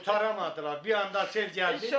Qurtara bilmədilər, bir anda sel gəldi.